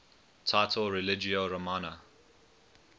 title religio romana